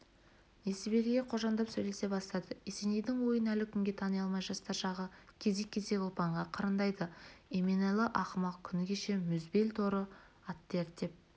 несібеліге қожаңдап сөйлесе бастады есенейдің ойын әлі күнге тани алмай жастар жағы кезек-кезек ұлпанға қырындайды еменалы ақымақ күні кеше мұзбел торы атты ерттеп